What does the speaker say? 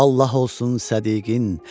Allah olsun sədiqin.